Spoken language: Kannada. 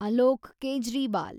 ಅಲೋಕ್ ಕೇಜ್ರಿವಾಲ್